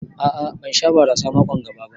A'a ban Sha barasa mako'n ga ba.